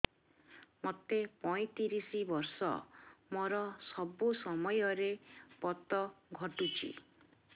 ମୋତେ ପଇଂତିରିଶ ବର୍ଷ ମୋର ସବୁ ସମୟରେ ପତ ଘଟୁଛି